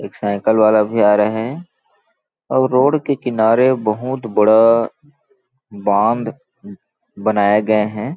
एक साइकिल वाला आरहे है और रोड के किनारे बहुत बड़ा बांद बनाया गए है।